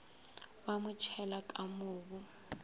ba mo tšhela ka mobu